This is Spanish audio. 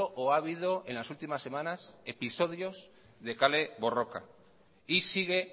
o ha habido en las últimas semanas episodios de kale borroka y sigue